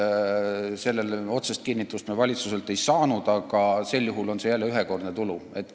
Sellele me valitsuselt otsest kinnitust ei saanud, aga kui see nii on, siis on see jälle ühekordne tulu.